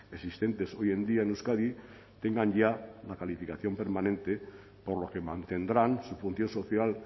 existentes hoy en día en euskadi tengan ya la calificación permanente por lo que mantendrán su función social